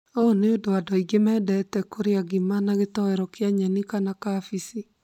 Ũũ nĩ ũndũ andũ aingĩ mendete kũria ngima na gĩtoero kia nyeni kana kabici